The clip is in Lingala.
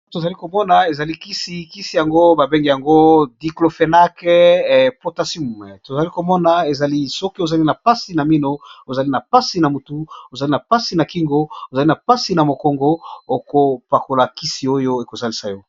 To zali ko mona ezali kisi, kisi yango ba bengi yango diclophenac potasium , to zali ko mona ezali soki ozali na pasi na minu, ozali na pasi na mutu, ozali na pasi na kingo, ozali na pasi na mokongo , oko pakola kisi oyo eko salisa yo .